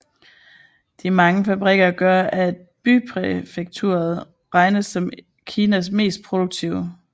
De mange fabrikker gør at bypræfekturet regnes som Kinas mest produktive